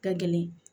Ka gɛlɛn